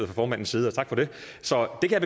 formandens side og tak for det så det kan